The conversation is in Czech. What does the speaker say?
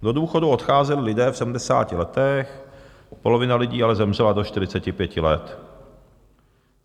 Do důchodu odcházeli lidé v 70 letech, polovina lidí ale zemřela do 45 let.